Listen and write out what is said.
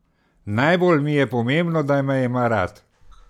Najbolj mi je pomembno, da me ima rad.